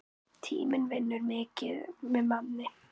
Tíminn vinnur mikið með manni.